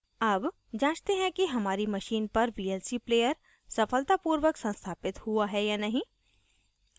अब जाँचते हैं कि हमारी machine पर vlc player सफलतापूर्वक संस्थापित हुआ है या नहीं